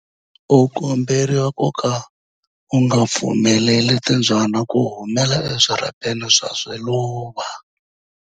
U komberiwa ku ka u nga pfumeleli timbyana ku humela eswirhapeni swa swiluva.